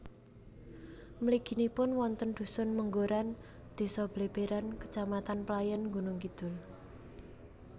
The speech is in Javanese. Mliginipun wonten dhusun Menggoran désa Bleberan kecamatan Playèn Gunungkidul